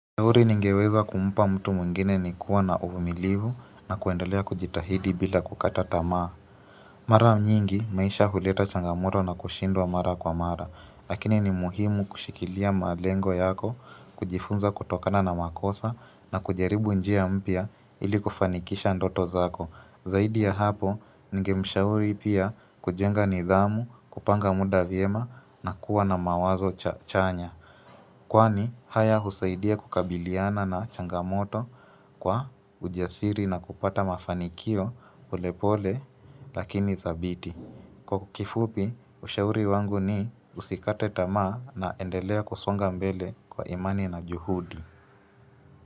Ushauri ningeweza kumpa mtu mwingine ni kuwa na uvumilivu na kuendelea kujitahidi bila kukata tamaa. Mara nyingi maisha huleta changamoto na kushindwa mara kwa mara. Lakini ni muhimu kushikilia malengo yako, kujifunza kutokana na makosa na kujaribu njia mpya ili kufanikisha ndoto zako. Zaidi ya hapo, ningemshauri pia kujenga nidhamu, kupanga muda vyema na kuwa na mawazo chanya. Kwani haya husaidia kukabiliana na changamoto kwa ujasiri na kupata mafanikio polepole lakini thabiti. Kwa kifupi, ushauri wangu ni usikate tamaa na endelea kusonga mbele kwa imani na juhudi.